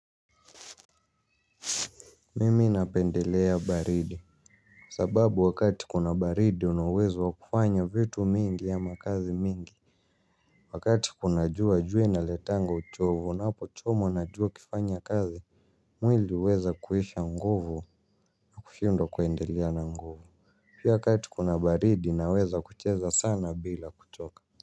Mimi napendelea baridi. Sababu wakati kuna baridi unauwezo wa kufanya vitu mingi ama kazi mingi. Wakati kunajua jua inaletanga uchovo unapo chomwa na jua ukifanya kazi. Mwili uweza kuisha nguvu na kushindwa kwendelea na nguvu. Pia wakati kuna baridi naweza kucheza sana bila kuchoka.